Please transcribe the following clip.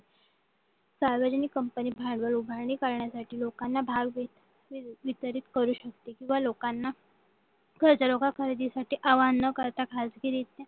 सार्वजनिक कंपनी भांडवल उभारणी करण्यासाठी लोकांना भाव विचलित करू शकते किंवा लोकांना खरेदी करण्यासाठी लोकांना आवाहन न करता खाजगी रित्या